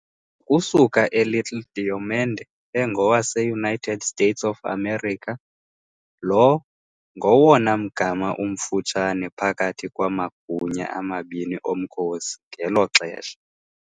ukusuka eLittle Diomede, engowaseUnited States of America - lo ngowona mgama umfutshane phakathi kwamagunya amabini omkhosi ngelo xesha.